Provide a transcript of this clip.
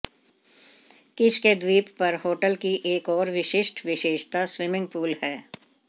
किश के द्वीप पर होटल की एक और विशिष्ट विशेषता स्विमिंग पूल है